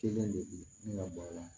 Kelen de bɛ bɔ a la